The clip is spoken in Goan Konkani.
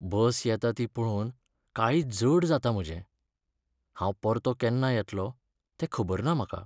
बस येता ती पळोवन काळीज जड जाता म्हजें. हांव परतो केन्ना येतलो तें खबर ना म्हाका.